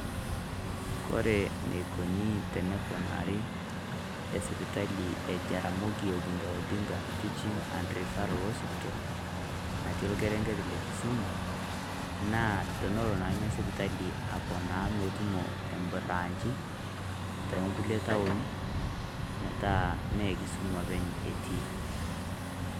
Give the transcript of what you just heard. Kore neikoni teneponari e sipitali e Jaramogi Oginga Odinga teaching and referral hospital natii orkereng'et le Kisumu, naa teneloo naa enia sipitali aponoo meetumo e buranchii te nkulee toonii metaa mee Kisumu epeny etii.